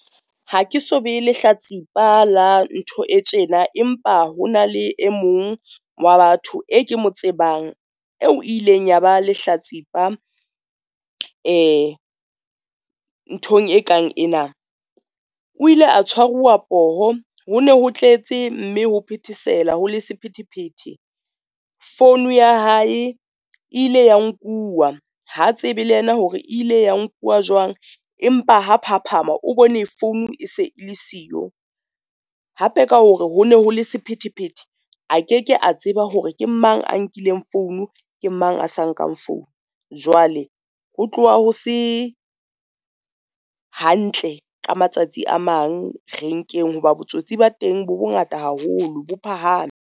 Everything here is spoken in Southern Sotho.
Ha ke so be lehlatsipa la ntho e tjena, empa ho na le e mong wa batho e ke mo tsebang eo ileng yaba lehlatsipa nthong e kang ena. O ile a tshwaruwa poho ho na ho tletse mme ho phethesela ho le sephethephethe. Founu ya hae e ile ya nkuwa ha tsebe le yena hore ile ya nkuwa jwang, empa ha phaphama o bone founu e se le siyo hape ka hore ho na ho le sephethephethe a ke ke a tseba hore ke mang a nkileng founu, ke mang a sa nkang founu. Jwale ho tloha ho se hantle ka matsatsi a mang renkeng, hoba botsotsi ba teng bo bongata haholo bo phahame.